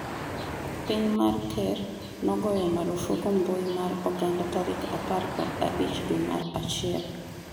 piny ma ker nogoyo marufuku mbui mar oganda tarik apar kod abich dwe mar achiel